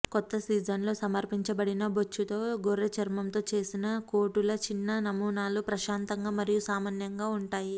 కొత్త సీజన్లో సమర్పించబడిన బొచ్చుతో గొర్రె చర్మంతో చేసిన కోటుల చిన్న నమూనాలు ప్రశాంతంగా మరియు సామాన్యంగా ఉంటాయి